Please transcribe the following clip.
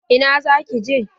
Ina zaki je?